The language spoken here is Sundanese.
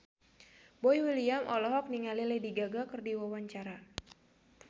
Boy William olohok ningali Lady Gaga keur diwawancara